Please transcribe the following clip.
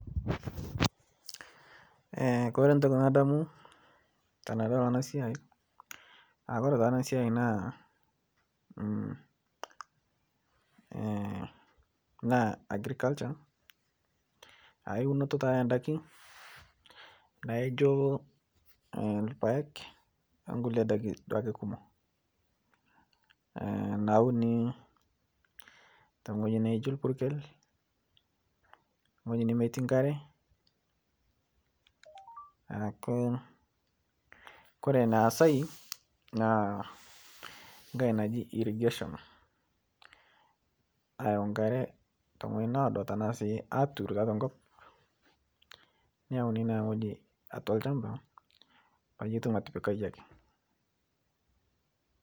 Kore ntoki nadamu tanadol ana siai aa kore taa ana siai naa, agriculture aa eunotoo taa endakii naijo lpaeg onkulie dakii duake kumoo naunii teng'hoji naijo lpurkel ng'hojii nemeti nkaree aaku kore naasai naa ng'hai naji irrigation, ayau nkaree te ng'hojii noodo tanaa sii aturu taatua nkop neyaunii naa ng'hojii atua lshampaa peyie itum atipika yie akee.